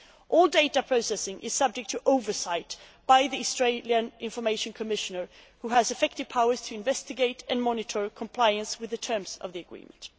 All data processing is subject to oversight by the Australian Information Commissioner, who has effective powers to investigate and monitor compliance with the terms of the agreement.